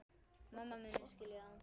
Mamma muni skilja það.